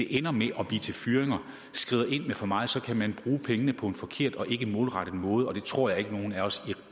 ender med at blive til fyringer skrider ind med for meget så kan man bruge pengene på en forkert og ikke en målrettet måde og det tror jeg ikke at nogen af os i